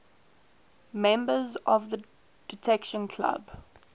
members of the detection club